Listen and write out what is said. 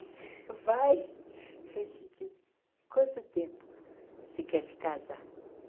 Vai Quanto tempo você quer se casar?